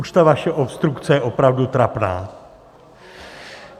Už ta vaše obstrukce je opravdu trapná!